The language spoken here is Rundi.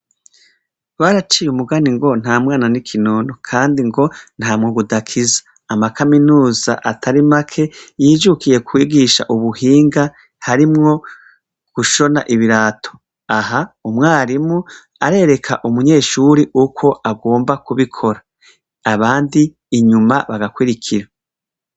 Baraciye umugani ngo ntamwana nikinono kandi ngo ntamwuga udakiza amakaminuza atari make yijukiye kwigisha ubuhinga harimwo gushona ibirato aha umwarimu arereka umunyeshure uko agomba kubikora abandi inyuma bagakurikira